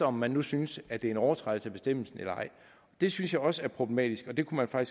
om man nu synes at det er en overtrædelse af bestemmelsen eller ej det synes jeg også er problematisk og det kunne man